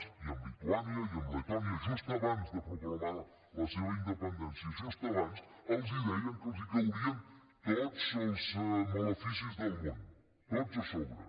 i amb lituània i amb letònia just abans de proclamar la seva independència just abans els deien que els caurien tots els maleficis del món tots a sobre